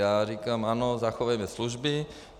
Já říkám: Ano, zachovejme služby.